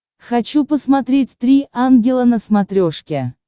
хочу посмотреть три ангела на смотрешке